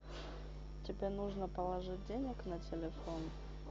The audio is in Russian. тебе нужно положить денег на телефон